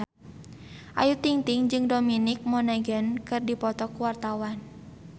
Ayu Ting-ting jeung Dominic Monaghan keur dipoto ku wartawan